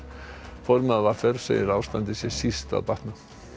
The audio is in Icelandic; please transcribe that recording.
formaður v r segir að ástandið sé síst að batna